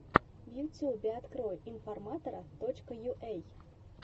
в ютьюбе открой информатора точка юэй